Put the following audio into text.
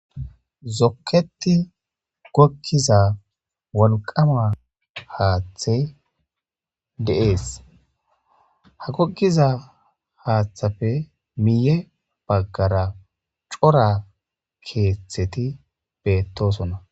Zoketi gogiza wolqama hathey de'ese ha gogiza hathappe miye bagara cora ketheti betosona